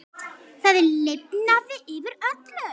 Það lifnaði yfir öllu.